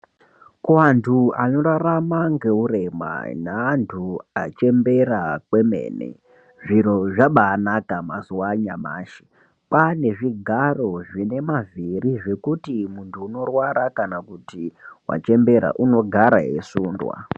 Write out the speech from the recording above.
Kuwantu anorarama ngeurema naantu achembera kwemene, zviro zvabanaka mazuva anyamashi. Kwane zvigaro zvine mavhiri zvekuti muntu unorwara kana kuti wachembera unogara eisundwa.